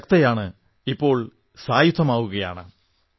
സ്ത്രീ ശക്തയാണ് ഇപ്പോൾ സായുധയുമാകുകയാണ്